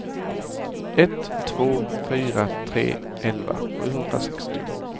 ett två fyra tre elva sjuhundrasextio